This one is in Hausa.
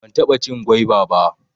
Ban taɓa cin gwaiba ba